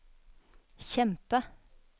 kjempe